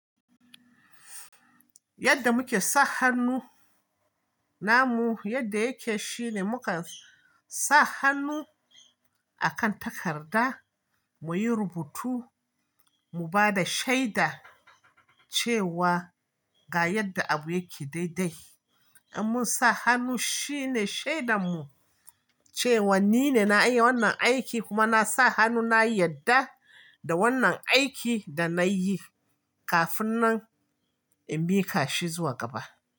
Yadda muke sa hannu namu, yadda yake shine mukan sa hannu akan takarda muyi rubutu, mu bada shaida cewa ga yadda abu yake dai-dai. In mun sa hannu shine shaidanmu cewa nine na yi wannan aiki kuma na sa hannu na yadda da wannan aiki da nayi kafin nan in miƙa shi zuwa gaba.